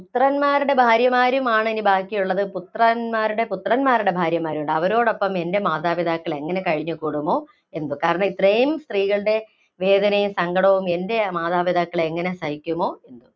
പുത്രന്മാരുടെ ഭാര്യമാരും ആണ് ഇനി ബാക്കിയുള്ളത്, പുത്രന്മാരുടെ, പുത്രന്മാരുടെ ഭാര്യമാരും ഉണ്ട്. അവരോടൊപ്പം എന്‍റെ മാതാപിതാക്കള്‍ എങ്ങിനെ കഴിഞ്ഞൂകൂടുമോ എന്തോ? കാരണം ഇത്രയും സ്ത്രീകളുടെ വേദനയും, സങ്കടവും എന്‍റെ മാതാപിതാക്കള്‍ എങ്ങിനെ സഹിക്കുമോ?